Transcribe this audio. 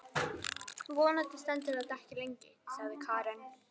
Vonandi stendur þetta ekki lengi, sagði Karen.